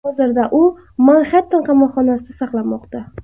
Hozirda u Manxetten qamoqxonasida saqlanmoqda.